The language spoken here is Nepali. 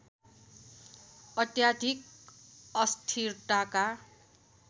अत्याधिक अस्थिरताका